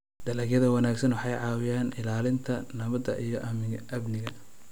Dalagyada wanaagsani waxay ka caawiyaan ilaalinta nabadda iyo amniga.